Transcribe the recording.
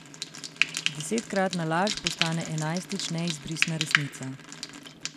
Desetkratna laž postane enajstič neizbrisna resnica!